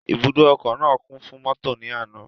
Ibùdó ọkọ̀ náà kún fún mọ́tò ní àná.